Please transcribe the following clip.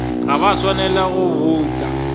ga ba swanela go bouta